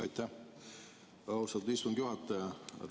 Aitäh, austatud istungi juhataja!